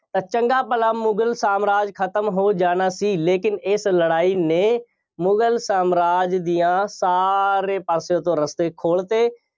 ਤਾਂ ਚੰਗਾ ਭਲਾ ਮੁਗਲ ਸਾਮਰਾਜ ਖਤਮ ਹੋ ਜਾਣਾ ਸੀ। ਲੇਕਿਨ ਇਸ ਲੜਾਈ ਨੇ ਮੁਗਲ ਸਾਮਰਾਜ ਦੀਆ ਸਾਰੇ ਪਾਸੇ ਤੋਂ ਰੱਸੇ ਖੋਲ੍ਹਤੇ।